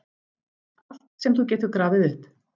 Allt sem þú getur grafið upp.